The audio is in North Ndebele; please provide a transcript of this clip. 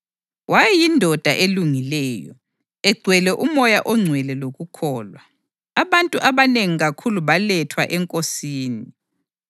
Wayeyindoda elungileyo, egcwele uMoya oNgcwele lokukholwa. Abantu abanengi kakhulu balethwa eNkosini.